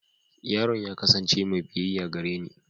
Yaron ya kasance mai biyayya gareni.